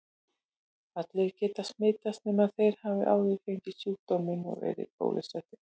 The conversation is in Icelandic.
Allir geta smitast nema þeir hafi áður fengið sjúkdóminn eða verið bólusettir.